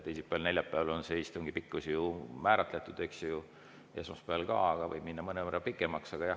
Teisipäeval ja neljapäeval on istungi pikkus määratletud, esmaspäeval ju ka, aga võib minna mõnevõrra pikemaks.